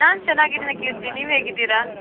ನಾನ್ ಚೆನ್ನಾಗಿದ್ದೇನೆ, ಕೀರ್ತಿ ನೀವ್ ಹೇಗಿದ್ದೀರಾ?